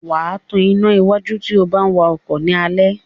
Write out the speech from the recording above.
Wá tán iná wájú tíó bá wá ọkọ ni Alẹ́.